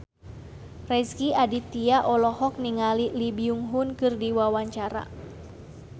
Rezky Aditya olohok ningali Lee Byung Hun keur diwawancara